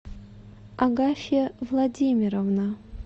агафья владимировна